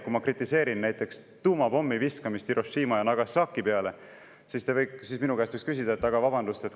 Kui ma kritiseerin näiteks tuumapommi viskamist Hiroshima ja Nagasaki peale, siis te võiks minu käest küsida: "Aga vabandust!